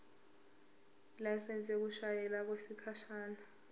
ilayisensi yokushayela okwesikhashana